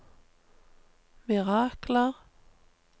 mirakler